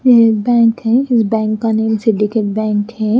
यह एक बैंक है इस बैंक का नेम सिंडिकेट बैंक है।